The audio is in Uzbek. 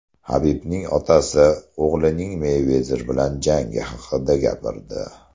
Habibning otasi o‘g‘lining Meyvezer bilan jangi haqida gapirdi.